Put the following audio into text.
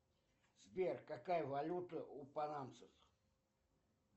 сбер какая валюта у панамцев